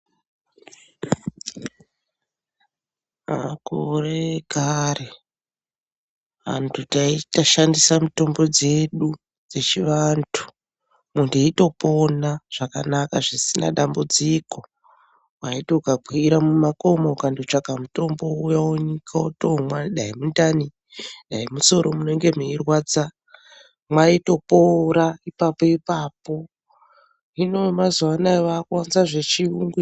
Makore ekare antu taishandisa mitombo dzedu dzechivantu munhu eitopona zvakanaka zvisina dambudziko. Waiting ukakwire mumakomo ukandotsvake mutombo, wouya wonyika wotomwa dani mundani, dani musoro munenge mweirwadza, mwotopora ipapo-ipapoo!. Hino vemazuva ano vakuwanze zvechiyungu.